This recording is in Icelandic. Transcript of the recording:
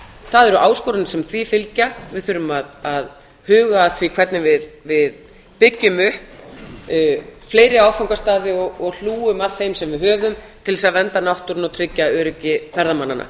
það eru áskoranir sem því fylgja við þurfum að huga að því hvernig við byggjum upp fleiri áfangastaði og hlúum að þeim sem við höfum til þess að vernda náttúruna og tryggja öryggi ferðamanna